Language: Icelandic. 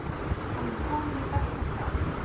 Hann var kominn í besta skap.